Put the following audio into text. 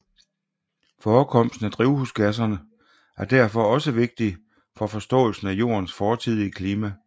Forekomsten af drivhusgasser er derfor også vigtige for forståelsen af Jordens fortidige klima